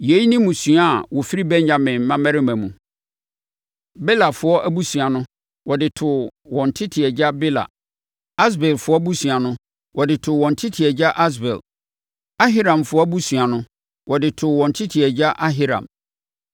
Yeinom ne mmusua a wɔfiri Benyamin mmammarima mu. Belafoɔ abusua no, wɔde too wɔn tete agya Bela. Asbelfoɔ abusua no, wɔde too wɔn tete agya Asbel. Ahiramfoɔ abusua no, wɔde too wɔn tete agya Ahiram.